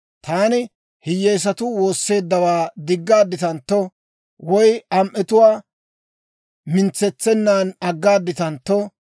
«Taani hiyyeesatuu woosseeddawaa diggaadditantto, woy am"etuwaa mintsetsenan aggaaditantto,